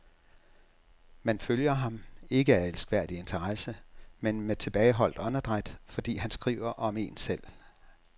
Man følger ham, ikke af elskværdig interesse, men med tilbageholdt åndedræt, fordi han skriver om en selv.